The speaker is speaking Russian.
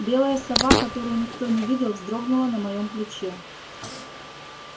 белая сова которую никто не видел вздрогнула на моём плече